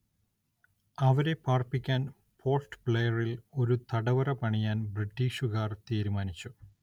അവരെ പാർപ്പിക്കാൻ പോർട്ട് ബ്ലെയറിൽ ഒരു തടവറ പണിയാൻ ബ്രിട്ടീഷുകാർ തീരുമാനിച്ചു.